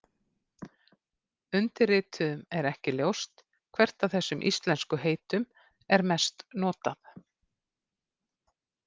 Undirrituðum er ekki ljóst hvert af þessum íslensku heitum er mest notað.